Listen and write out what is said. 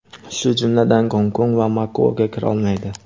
shu jumladan Gonkong va Makaoga kira olmaydi.